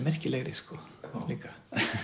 merkilegri líka